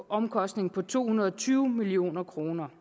omkostning på to hundrede og tyve million kroner